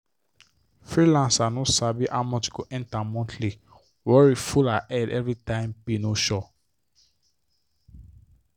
freelancer no sabi how much go enter monthlyworry full her head everytime pay no sure.